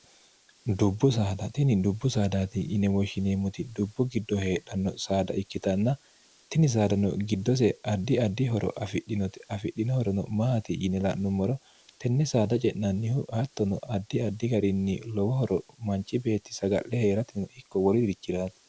dubbu saadtini dubbu saadaati yinemoshshineemmoti dubbu giddo heedhanno saada ikkitanna tini saadano giddose addi addi horo afidhinote afidhinohorono maati yine la'nummoro tenne saada ce'nannihu attono addi addi garinni lowohoro manchi beetti saga'le hee'ratino ikko woli dirichi'raati